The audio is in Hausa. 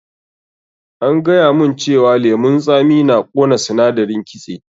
An gaya mun cewa lemun tsami na ƙona sindarin kitse.